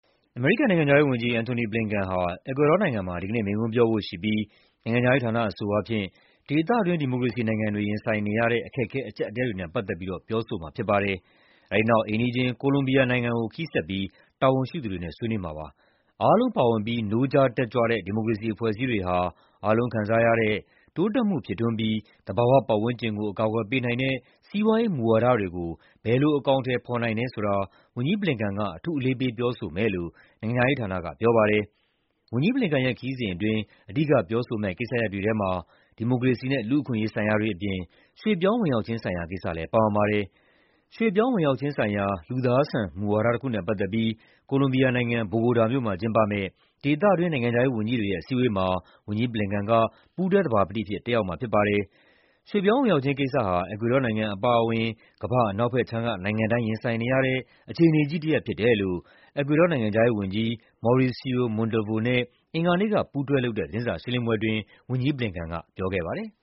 အမေရိကန်နိုင်ငံခြားရေးဝန်ကြီး Antony Blinken ဟာ အီကွေဒေါနိုင်ငံမှာ ဒီကနေ့ မိန့်ခွန်းပြောဖို့ရှိပြီး နိုင်ငံခြားရေးဌာနအဆိုအားဖြင့် "ဒေသတွင်း ဒီမိုကရေစီနိုင်ငံတွေ ရင်ဆိုင်နေရတဲ့ အခက်အခဲအကျပ်အတည်းတွေ" နဲ့ ပတ်သက်ပြီး ပြောဆိုမှာဖြစ်ပါတယ်။ အဲဒီနောက် အိမ်နီးချင်း Colombia နိုင်ငံကို ခရီးဆက်ပြီး တာဝန်ရှိသူတွေနဲ့ ဆွေးနွေးမှာဖြစ်ပါတယ်။ "အားလုံးပါဝင်ပြီး နိုးကြားတက်ကြွတဲ့ ဒီမိုကရေစီအဖွဲ့အစည်းတွေ" ဟာ "အားလုံးခံစားရတဲ့ တိုးတက်မှုဖြစ်ထွန်းပြီးသဘာဝပတ်ဝန်းကျင်ကို အကာအကွယ်ပေးနိုင်" တဲ့ စီးပွားရေးမူဝါဒတွေကို ဘယ်လို အကောင်အထည်ဖော်နိုင်တယ်ဆိုတာ ဝန်ကြီး Blinken က အထူး အလေးထား ပြောဆိုမယ်လို့ နိုင်ငံခြားရေးဌာနက ပြောပါတယ်။ ဝန်ကြီး Blinken ရဲ့ ခရီးစဉ်အတွင်း အဓိကပြောဆိုမယ့် ကိစ္စရပ်တွေထဲမှာ ဒီမိုကရေစီနဲ့ လူ့အခွင့်အရေးဆိုင်ရာတွေအပြင် ရွှေ့ပြောင်းဝင်ရောက်ခြင်းဆိုင်ရာကိစ္စလည်း ပါဝင်ပါတယ်။ ရွှေ့ပြောင်းဝင်ရောက်ခြင်းဆိုင်ရာ လူသားဆန် မူဝါဒတခုနဲ့ပတ်သက်ပြီး Colombia နိုင်ငံ၊ ဘိုဂိုတာမြို့မှာကျင်းပမယ့် ဒေသတွင်း နိုင်ငံခြားရေးဝန်ကြီးတွေရဲ့ အစည်းအဝေးမှာ ဝန်ကြီး Blinken က ပူးတွဲသဘာပတိအဖြစ် တက်ရောက်မှာဖြစ်ပါတယ်။ ရွှေ့ပြောင်းဝင်ရောက်ခြင်းကိစ္စဟာ အီကွေဒေါနိုင်ငံအပါအဝင် ကမ္ဘာ့အနောက်ဘက်ခြမ်းက နိုင်ငံတိုင်း ရင်ဆိုင်နေရတဲ့ အခြေအနေကြီးတရပ်ဖြစ်တယ်လို့ အီကွေဒေါနိုင်ငံခြားရေးဝန်ကြီး Mauricio Montalvo နဲ့ အင်္ဂါနေ့က ပူးတွဲလုပ်တဲ့ သတင်းစာရှင်းလင်းပွဲအတွင်း ဝန်ကြီး Blinken က ပြောခဲ့ပါတယ်။